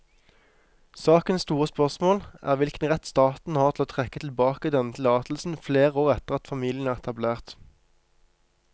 Sakens store spørsmål er hvilken rett staten har til å trekke tilbake denne tillatelsen flere år etter at familien er etablert.